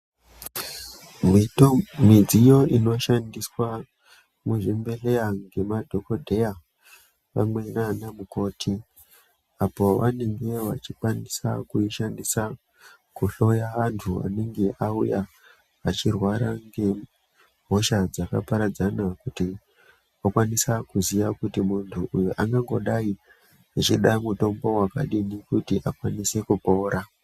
Midziyo inoshandiswa muzvibhehleya ngemadhokodheya pamwe nana mukoti apo vanenge vachikwanisa kuishandisa kuhloya antu anenge auya achirwara ngehosha dzakaparadzana kuti vakwanise kuziya kuti muntu uyu angangodai achida mutombo wakadini kuti akwanise kupora.